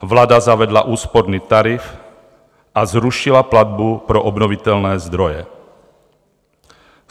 Vláda zavedla úsporný tarif a zrušila platbu pro obnovitelné zdroje.